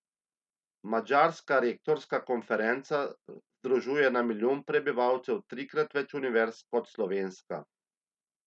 Madžarska rektorska konferenca združuje na milijon prebivalcev trikrat več univerz kot slovenska.